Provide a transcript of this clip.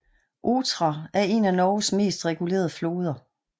Otra er en af Norges mest regulerede floder